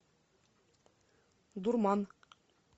дурман